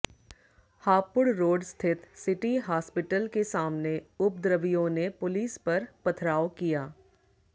Hapur road स्थित city hospital के सामने उपद्रवियों ने पुलिस पर पथराव किया